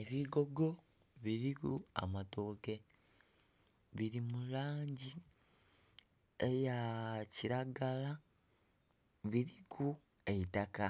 Ebigogo biriku amatooke. Biri mulangi eya kiragala, biriku eitaka.